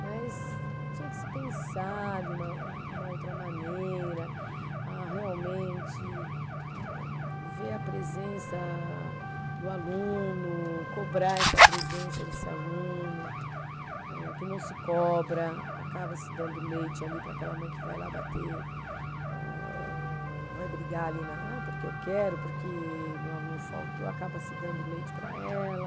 Mas tinha que se pensar de uma, uma outra maneira, a realmente ver a presença do aluno, cobrar essa presença desse aluno, eh que não se cobra, acaba se dando leite ali para aquela mãe que vai lá bater, âh vai brigar ali na, ah porque eu quero, porque meu aluno faltou, acaba se dando leite para ela.